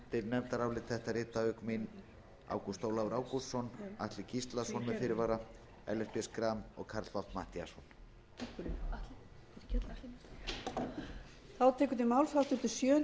nefndarálit þetta rita auk mín háttvirtir þingmenn ágúst ólafur ágústsson atli gíslason með fyrirvara ellert b schram og karl fimmti matthíasson